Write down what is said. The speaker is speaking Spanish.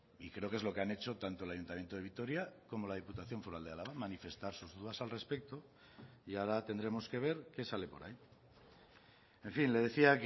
y creo que es lo que han hecho tanto el ayuntamiento de vitoria como la diputación foral de álava manifestar sus dudas al respecto y ahora tendremos que ver qué sale por ahí en fin le decía